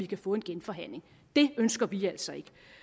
kan få en genforhandling det ønsker vi altså ikke